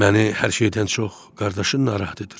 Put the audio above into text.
Məni hər şeydən çox qardaşın narahat edir.